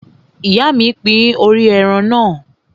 Ìyá mi pín orí ẹran náà.